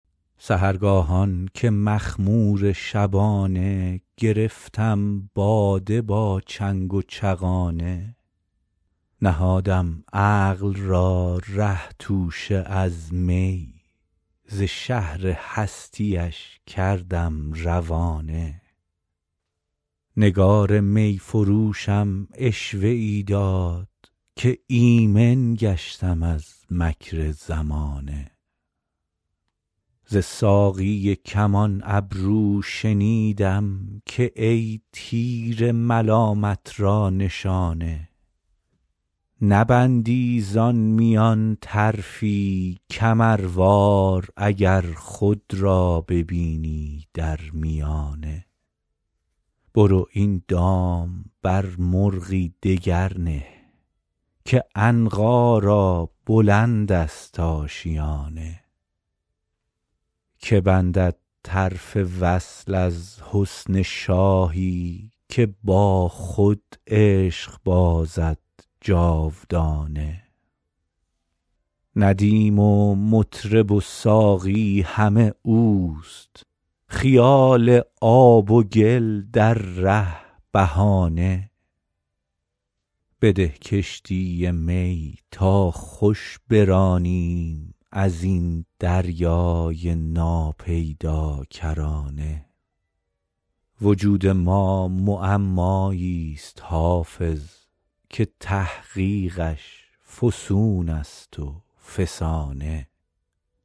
سحرگاهان که مخمور شبانه گرفتم باده با چنگ و چغانه نهادم عقل را ره توشه از می ز شهر هستی اش کردم روانه نگار می فروشم عشوه ای داد که ایمن گشتم از مکر زمانه ز ساقی کمان ابرو شنیدم که ای تیر ملامت را نشانه نبندی زان میان طرفی کمروار اگر خود را ببینی در میانه برو این دام بر مرغی دگر نه که عنقا را بلند است آشیانه که بندد طرف وصل از حسن شاهی که با خود عشق بازد جاودانه ندیم و مطرب و ساقی همه اوست خیال آب و گل در ره بهانه بده کشتی می تا خوش برانیم از این دریای ناپیداکرانه وجود ما معمایی ست حافظ که تحقیقش فسون است و فسانه